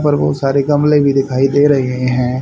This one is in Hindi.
पर बहोत सारे गमले भी दिखाई दे रहे हैं।